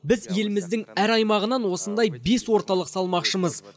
біз еліміздің әр аймағынан осындай бес орталық салмақшымыз